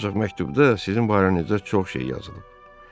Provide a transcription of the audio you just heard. Ancaq məktubda sizin barənizdə çox şey yazılıb.